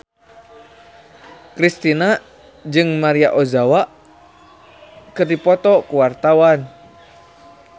Kristina jeung Maria Ozawa keur dipoto ku wartawan